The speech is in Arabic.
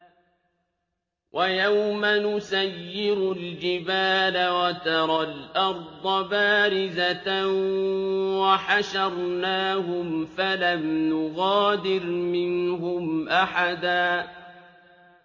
وَيَوْمَ نُسَيِّرُ الْجِبَالَ وَتَرَى الْأَرْضَ بَارِزَةً وَحَشَرْنَاهُمْ فَلَمْ نُغَادِرْ مِنْهُمْ أَحَدًا